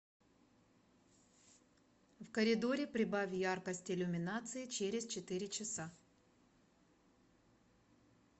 в коридоре прибавь яркость иллюминации через четыре часа